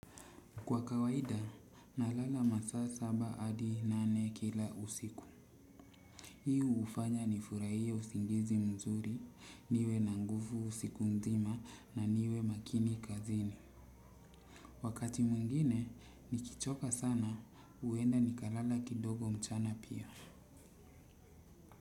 Kwa kawaida, nalala masa saba hadi nane kila usiku. Hii hufanya nifurahie usingizi mzuri niwe na nguvu siku mzima na niwe makini kazini. Wakati mwingine, nikichoka sana, huenda nikalala kidogo mchana pia.